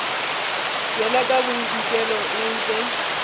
tšwela ka bodikela e be